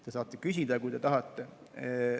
Te saate küsida, kui te tahate.